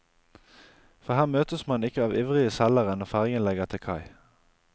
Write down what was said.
For her møtes man ikke av ivrige selgere når fergen legger til kai.